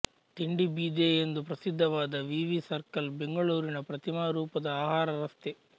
ತಿಂಡಿ ಬೀದೆ ಎಂದು ಪ್ರಸಿದ್ದವಾದ ವಿ ವಿ ಸರ್ಕಲ್ ಬೆಂಗಳೂರಿನ ಪ್ರತಿಮಾರೂಪದ ಆಹಾರ ರಸ್ತೆ